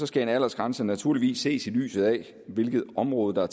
skal en aldersgrænse naturligvis ses i lyset af hvilke områder